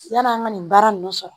Yann'an ka nin baara ninnu sɔrɔ